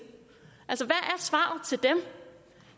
dem